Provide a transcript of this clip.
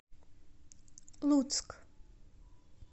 луцк